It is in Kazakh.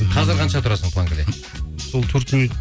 қазір қанша тұрасың планкіде сол төрт минут